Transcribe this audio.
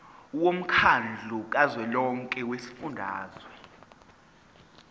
womkhandlu kazwelonke wezifundazwe